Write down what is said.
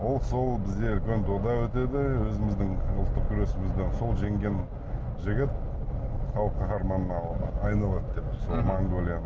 ол сол бізде үлкен дода өтеді өзіміздің ұлттық күресімізден сол жеңген жігіт халық қаһарманына айналады деп сол монголияның